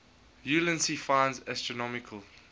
ulansey finds astronomical